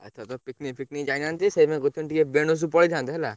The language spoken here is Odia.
ଆଉ ଏଇଥର ତ picnic ଫିକ୍ ନିକ୍ ଯାଇନାହାନ୍ତି ସେଇଥିପାଇଁକି କହୁଥିନି ଟିକେ ବେଣୁଶ ପଳେଇଥାନ୍ତେ ହେଲା।